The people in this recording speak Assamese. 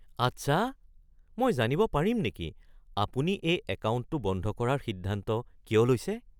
আচ্ছা। মই জানিব পাৰিম নেকি আপুনি এই একাউণ্টটো বন্ধ কৰাৰ সিদ্ধান্ত কিয় লৈছে?